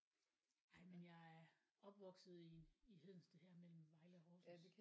Ej men jeg er opvokset i i Hedensted her mellem Vejle og Horsens